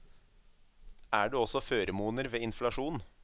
Er det også føremoner ved inflasjon?